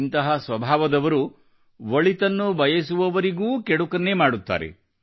ಇಂಥ ಸ್ವಭಾವದವರು ಒಳಿತನ್ನು ಬಯಸುವವರಿಗೂ ಕೆಡುಕನ್ನೇ ಮಾಡುತ್ತಾರೆ